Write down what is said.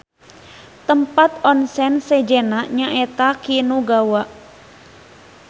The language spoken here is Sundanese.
Tempat onsen sejenna nyaeta Kinugawa.